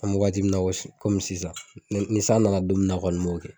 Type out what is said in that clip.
An be waati kɔmi sisan mɛ ni san nana don min kɔni n b'o kɛ